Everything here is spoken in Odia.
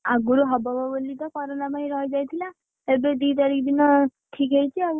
ଆଗରୁ ହବ ହବ ବୋଲି କରୋନା ପାଇଁ ରହିଯାଇଥିଲା ଏବେ ଦି ତାରିଖ୍ ଦିନ ଠିକ୍ ହେଇଛି ଆଉ,